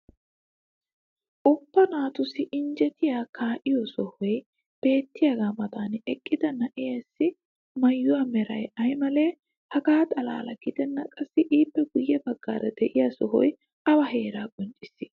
ubba naatussi injjettiya kaa'iyo sohoy beettiyaagaa matan eqqida na'eessi maayuwa meray aymalee? hegaa xalaala gidennan qassi ippe guye bagaara de'iya sohoy awa heeraa qonccissii?